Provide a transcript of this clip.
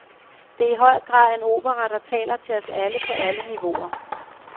Det er i høj grad en opera, der taler til os alle på alle niveauer.